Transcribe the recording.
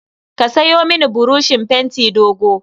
Ka sayo mini buroshin fenti dogo.